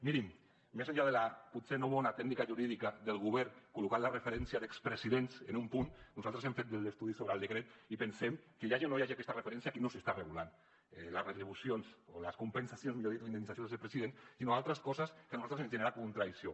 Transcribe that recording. mirin més enllà de la potser no bona tècnica jurídica del govern col·locant la referència d’expresidents en un punt nosaltres hem fet l’estudi sobre el decret i pensem que hi hagi o no hi hagi aquesta referència aquí no s’està regulant les retribucions o les compensacions millor dit o indemnitzacions de president sinó altres coses que a nosaltres ens genera contradicció